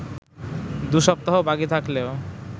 দু'সপ্তাহ বাকি থাকলেও